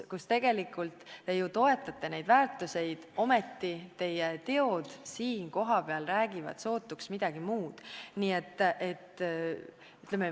Tegelikult te ju toetate neid väärtusi, aga teie teod siin kohapeal räägivad sootuks midagi muud.